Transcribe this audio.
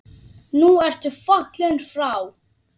Nú ertu fallinn frá.